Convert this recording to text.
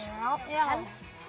já